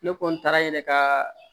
Ne kɔni taara yen ne ka